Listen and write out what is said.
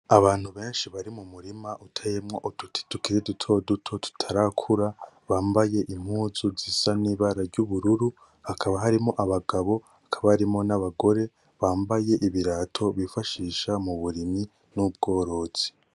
Abantu beshi bari mumurima uteyemwo uduti tukiri duto diuo tutarakura bambaye impuzu zisa nibara ry'ubururu hakaba harimwo abagabo hakaba harimwo nabagore bambaye ibirato bifashisha muburimyi n'ubworozi